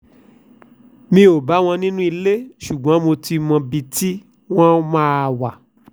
mi ò bá wọn nínú ilé ṣùgbọ́n mo ti mọbi tí wọ́n máa wà